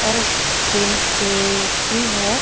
और तीन खिड़की है.